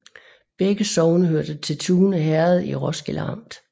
Begge sogne hørte til Tune Herred i Roskilde Amt